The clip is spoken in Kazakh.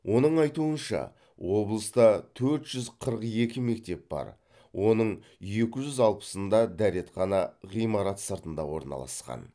оның айтуынша облыста төрт жүз қырық екі мектеп бар оның екі жүз алпысында дәретхана ғимарат сыртында орналасқан